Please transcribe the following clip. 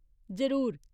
जरूर !